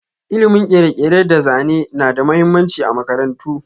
Ilimin kere-kere da zane na da mahimmanci a makarantu.